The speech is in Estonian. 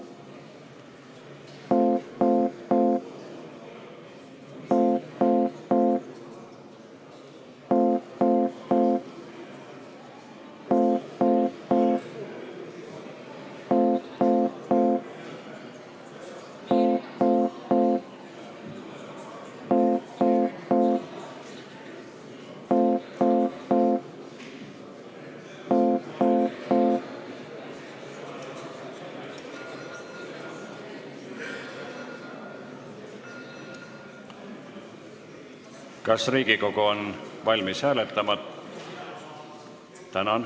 Kas Riigikogu on valmis hääletama?